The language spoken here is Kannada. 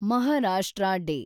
ಮಹಾರಾಷ್ಟ್ರ ಡೇ